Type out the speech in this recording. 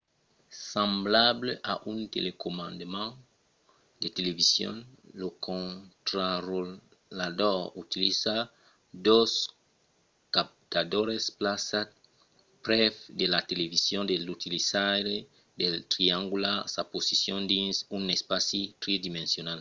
semblable a un telecomandament de television lo contrarotlador utiliza dos captadors plaçats prèp de la television de l'utilizaire per triangular sa posicion dins un espaci tridimensional